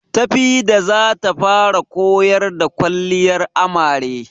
Tafida zata fara koyar da kwalliyar amare